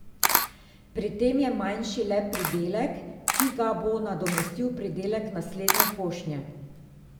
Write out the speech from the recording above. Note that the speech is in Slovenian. Pri tem je manjši le pridelek, ki ga bo nadomestil pridelek naslednje košnje.